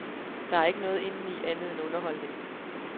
Der er ikke noget indeni andet end underholdning.